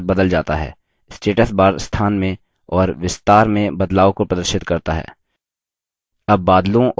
status bar स्थान में और विस्तार में बदलाव को प्रदर्शित करता है